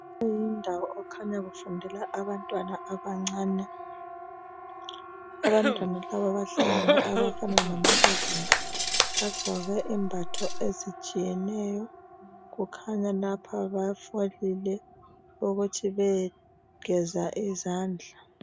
Le yindawo okukhanya kufundela abantwana abancane, abantwana laba bahlangene abafana lamankazana bagqoke imbatho ezitshiyeneyo kukhanya lapha bafakele ukuthi beyegeza izandla.